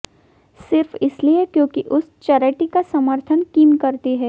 सिर्फ इसलिए क्योंकि उस चैरिटी का सर्मथन किम करती हैं